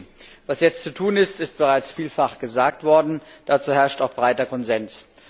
Liebe Kollegen! Was jetzt zu tun ist, ist bereits vielfach gesagt worden, dazu herrscht auch breiter Konsens.